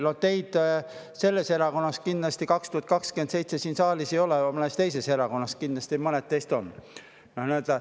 No teid sellesama erakonna liikmetena kindlasti aastal 2027 siin saalis ei ole, mõnes teises erakonnas ilmselt mõned teist on.